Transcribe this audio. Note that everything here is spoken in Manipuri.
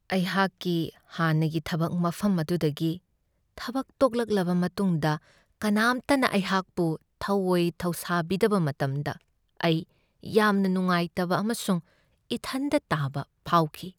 ꯑꯩꯍꯥꯛꯀꯤ ꯍꯥꯟꯅꯒꯤ ꯊꯕꯛ ꯃꯐꯝ ꯑꯗꯨꯗꯒꯤ ꯊꯕꯛ ꯇꯣꯛꯂꯛꯂꯕ ꯃꯇꯨꯡꯗ ꯀꯅꯥꯝꯇꯅ ꯑꯩꯍꯥꯛꯄꯨ ꯊꯧꯋꯣꯏ ꯊꯧꯁꯥꯕꯤꯗꯕ ꯃꯇꯝꯗ ꯑꯩ ꯌꯥꯝꯅ ꯅꯨꯡꯉꯥꯏꯇꯕ ꯑꯃꯁꯨꯡ ꯏꯊꯟꯗ ꯇꯥꯕ ꯐꯥꯎꯈꯤ ꯫